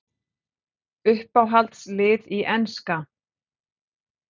Uppáhalds lið í enska?